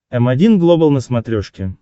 м один глобал на смотрешке